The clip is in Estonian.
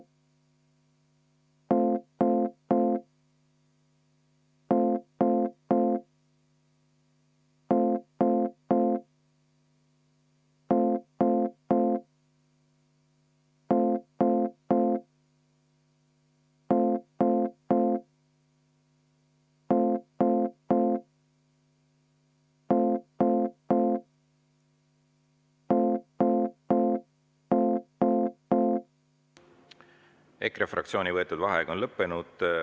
EKRE fraktsiooni võetud vaheaeg on lõppenud.